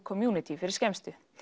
community fyrir skemmstu